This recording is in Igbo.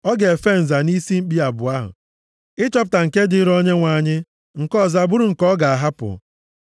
Ọ ga-efe nza nʼisi mkpi abụọ ahụ, ịchọpụta nke dịrị Onyenwe anyị nke ọzọ abụrụ nke ọ ga-ahapụ.